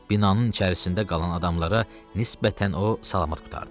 Binanın içərisində qalan adamlara nisbətən o salamat qurtardı.